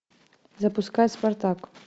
запускай спартак